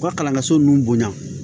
U ka kalanso nun bonya